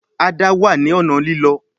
Ada wá ní ọnà Lílọ